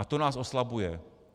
A to nás oslabuje.